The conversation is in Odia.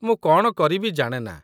ମୁଁ କଣ କରିବି ଜାଣେ ନା।